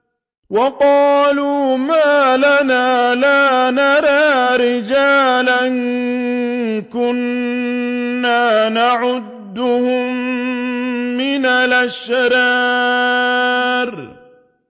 وَقَالُوا مَا لَنَا لَا نَرَىٰ رِجَالًا كُنَّا نَعُدُّهُم مِّنَ الْأَشْرَارِ